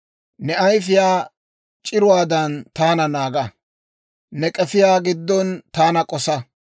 Ne ayifiyaa c'iruwaadan taana naaga; ne k'efiyaa giddon taana k'osa.